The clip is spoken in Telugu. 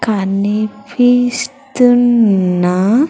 కనిపిస్తున్న.